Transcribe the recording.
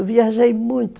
Eu viajei muito.